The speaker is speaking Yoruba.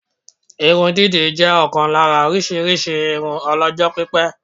Irun dídì jẹ́ ọ̀kan lára orísirísi irun ọlọ́jọ́ pípẹ́